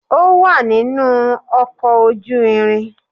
Ó wà nínú ọkọ̀ ojú irin.